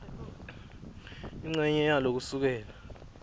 incenye yalo kusukela